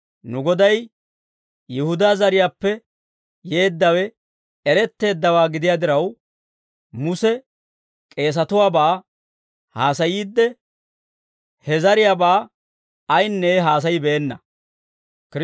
Nu Goday Yihudaa zariyaappe yeeddawe eretteeddawaa gidiyaa diraw, Muse k'eesatuwaabaa haasayiidde, he zariyaabaa ayinne haasayibeenna.